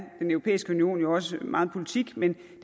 den europæiske union jo også meget politik men